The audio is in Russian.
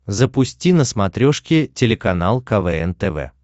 запусти на смотрешке телеканал квн тв